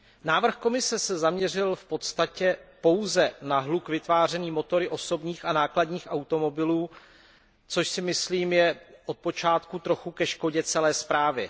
Návrh Komise se zaměřil v podstatě pouze na hluk vytvářený motory osobních a nákladních automobilů, což si myslím, je od počátku trochu ke škodě celé zprávy.